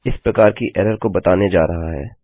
इस प्रकार की एरर को बताने जा रहे हैं